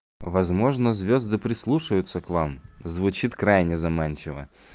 возможно звезды прислушиваются к вам звучит крайне заманчиво